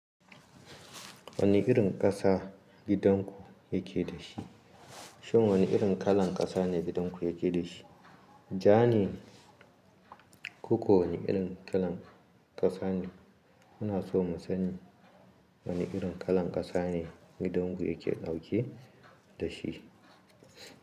Wani irin ƙasa gidan ku yake da shi? Shin wani irin kalan ƙasa ne gidan ku yake da shi? Ja ne Ko ko wani irin kalan ƙasa ne? Muna so mu sani wani irin kalan ƙasa ne gidan ku yake dauke da shi.